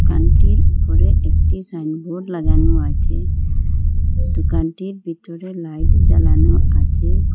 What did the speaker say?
দোকানটির ওপরে একটি সাইনবোর্ড লাগানো আছে দোকানটির ভিতরে লাইট জ্বালানো আচে।